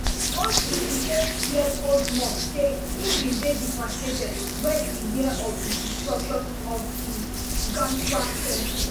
one sixty-eightyearold monk say e bin dey devastated wen e hear of di destruction of di of di gounsa temple